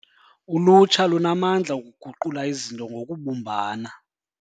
Ulutsha lunamandla okuguqula izinto ngokubumbana.